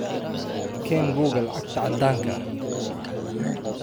Keen buugga lacagta caddaanka ah.